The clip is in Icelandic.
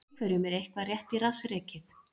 Einhverjum er eitthvað rétt í rass rekið